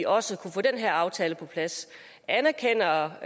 også kunne få den her aftale på plads anerkender